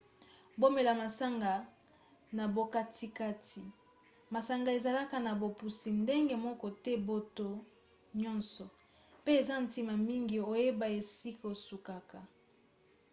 bomela masanga na bokatikati. masanga ezalaka na bopusi ndenge moko te na bato nyonso pe eza ntina mingi oyeba esika osukaka